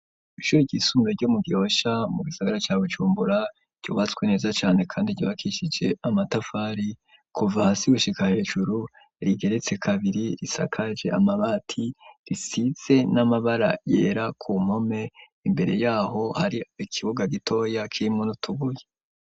Ishuri ryisumbe ryo mu Gihosha mu gisagara ca Bucumbura ryubatswe neza cane kandi ryubakishije amatafari kuva hasi gushika hejuru rigeretse kabiri risakaje amabati risize n'amabara yera ku mpome imbere yaho hari ikibuga gitoya kirimwo n'utubuye.